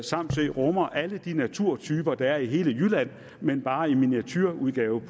samsø rummer alle de naturtyper der er i hele jylland men bare i miniatureudgave